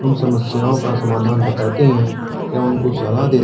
उन समस्याओं का समाधान बताते हैं या उनका सलाह दे--